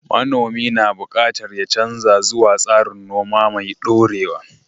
Manomi na buƙatar ya canza zuwa tsarin noma mai dorewa.